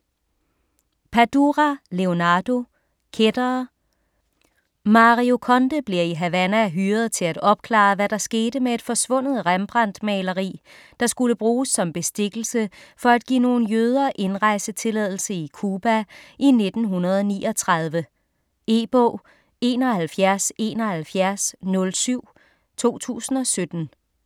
Padura, Leonardo: Kættere Mario Conde bliver i Havana hyret til at opklare, hvad der skete med et forsvundet Rembrandt-maleri, der skulle bruges som bestikkelse for at give nogle jøder indrejsetilladelse i Cuba i 1939. E-bog 717107 2017.